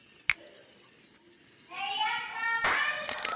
Og trúað mér!